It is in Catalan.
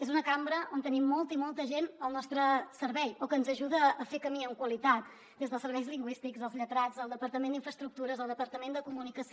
és una cambra on tenim molta i molta gent al nostre servei o que ens ajuda a fer camí amb qualitat des dels serveis lingüístics els lletrats el departament d’infraestructures el departament de comunicació